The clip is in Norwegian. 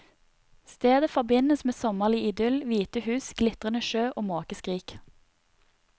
Stedet forbindes med sommerlig idyll, hvite hus, glitrende sjø og måkeskrik.